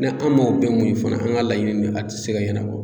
Ni an m'o bɛɛ muɲu fana an ka laɲini nin a tɛ se ka ɲɛnabɔ